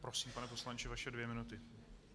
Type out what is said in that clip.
Prosím, pane poslanče, vaše dvě minuty.